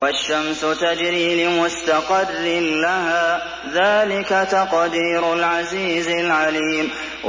وَالشَّمْسُ تَجْرِي لِمُسْتَقَرٍّ لَّهَا ۚ ذَٰلِكَ تَقْدِيرُ الْعَزِيزِ الْعَلِيمِ